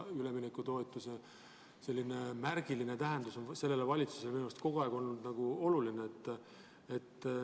Üleminekutoetuse märgiline tähendus on minu arvates olnud sellele valitsusele kogu aeg oluline.